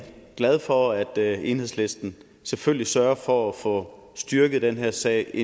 glad for at enhedslisten selvfølgelig sørger for at få styrket den her sag i